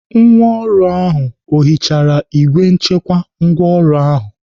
Nwa ọrụ ahụ ọ hichara igbe nchekwa ngwaọrụ ahụ?